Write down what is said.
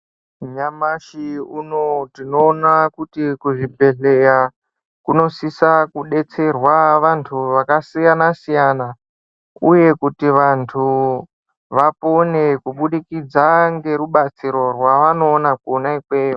Nyamashi unowu tinoona kuti kuzvibhedhleya, kunosisa kudetserwa vantu vakasiyana-siyana, uye kuti vantu vapone kubudikidza ngerubatsiro rwavanoona kwona ikweyo.